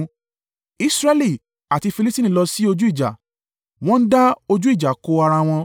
Israẹli àti Filistini lọ sí ojú ìjà wọ́n da ojú ìjà kọ ara wọn.